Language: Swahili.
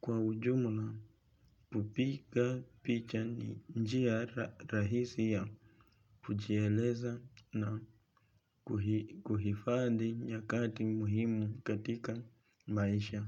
Kwa ujumula kupiga picha ni njia rahisi ya kujieleza na kuhifadhi nyakati muhimu katika maisha.